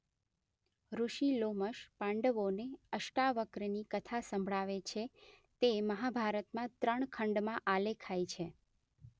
ઋષિ લોમશ પાંડવોને અષ્ટાવક્રની કથા સંભળાવે છે તે મહાભારતમાં ત્રણ ખંડમાં આલેખાઇ છે.